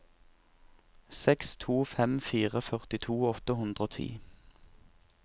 seks to fem fire førtito åtte hundre og ti